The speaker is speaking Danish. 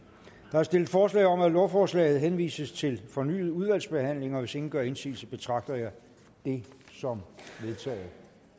er stillet forslag om at lovforslaget henvises til fornyet udvalgsbehandling og hvis ingen gør indsigelse betragter jeg det som vedtaget